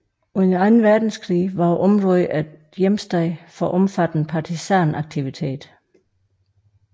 Under Anden Verdenskrig var området en hjemsted for omfattende partisanaktivitet